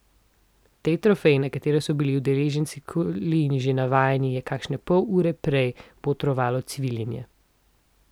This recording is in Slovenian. Tej trofeji, na katero so bili udeleženci kolin že navajeni, je kakšne pol ure prej botrovalo cviljenje.